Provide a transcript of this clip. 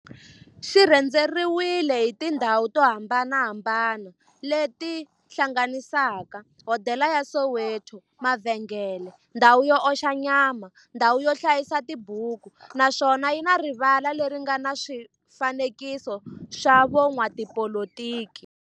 xi rhendzeriwile hi tindhawu to hambanahambana le ti hlanganisaka, hodela ya Soweto-mavhengele-ndhawu yo oxa nyama-ndhawu yo hlayisa tibuku, naswona yi na rivala le ri nga na swifanekiso swa vo n'watipolitiki.